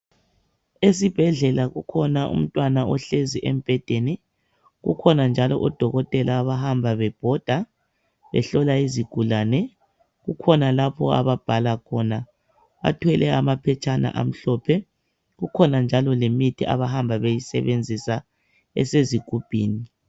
Esibhedlela kukhona umntwana ohlezi embhedeni kukhona njalo odokotela abahamba bebhoda behlola izigulane . Kukhona lapho ababhala khona bathwele amaphetshana amhlophe kukhona njalo lemithi abahamba beyisebenzisa esezigubhini .